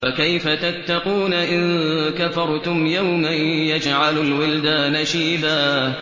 فَكَيْفَ تَتَّقُونَ إِن كَفَرْتُمْ يَوْمًا يَجْعَلُ الْوِلْدَانَ شِيبًا